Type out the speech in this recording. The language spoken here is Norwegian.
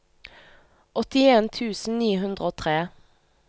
åttien tusen ni hundre og tre